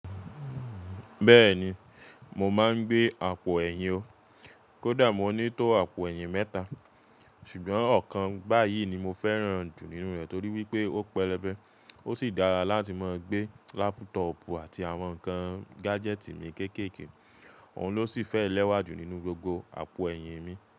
Bẹ́ẹ̀ni mo máa ń gbé àpò ẹ̀yìn o. Kó dà mo ní tó àpò ẹ̀yìn mẹ́ta, ṣùgbọ́n ọ̀kan bá yìí ni mo fẹ́ràn jù nínú rẹ̀ torí wípé ó pẹlẹbẹ, ó sì dára láti máa gbé laptopu àti àwọn nǹkan gadgeti ni kékèké. Òun ló sì fẹ́ lẹ́wà jù nínú gbogbo àpò ẹ̀yìn mi.